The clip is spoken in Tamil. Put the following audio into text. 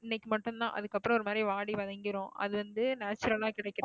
இன்னைக்கு மட்டும்தான் அதுக்கப்புறம் ஒரு மாதிரி வாடி வதங்கிரும் அது வந்து natural ஆ கிடைக்கிறது